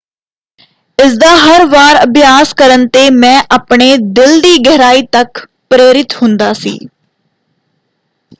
"ਇਸਦਾ ਹਰ ਵਾਰ ਅਭਿਆਸ ਕਰਨ ‘ਤੇ ਮੈਂ ਆਪਣੇ ਦਿਲ ਦੀ ਗਹਿਰਾਈ ਤੱਕ ਪ੍ਰੇਰਿਤ ਹੁੰਦਾ ਸੀ।